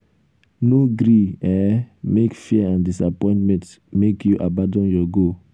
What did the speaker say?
no gree um make fear and disappointment um make you abandon your goal.